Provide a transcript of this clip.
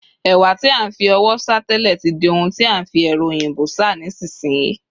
ẹwà ti a n fi ọwọ sá tẹle, ti di oun ti a n fi ẹrọ oyinbo sa nisinsinyi